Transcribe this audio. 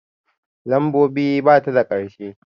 Lambobi bata da ƙarshe